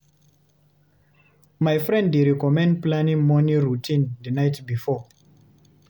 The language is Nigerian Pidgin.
My friend dey recommend planning morning routine the night before.